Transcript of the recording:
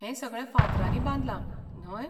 हें सगळें फातरांनी बांदलां, न्हय?